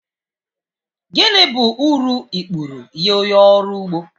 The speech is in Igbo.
Gịnị bụ uru ikpuru nye onye ọrụ ugbo